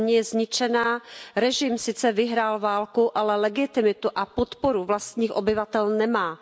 Země je zničená, režim sice vyhrál válku, ale legitimitu a podporu vlastních obyvatel nemá.